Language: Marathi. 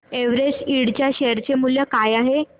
एव्हरेस्ट इंड च्या शेअर चे मूल्य काय आहे